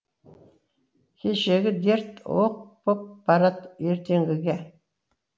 кешегі дерт оқ боп барад ертеңгіге